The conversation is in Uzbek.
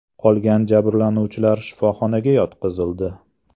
Qolgan jabrlanuvchilar shifoxonaga yotqizildi.